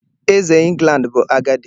Eze England bu agadi